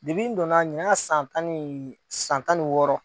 N donnanin y'a san tan ni wɔɔrɔ ye